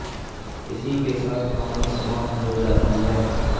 इसी के साथ कहानी समाप्त हो जाती है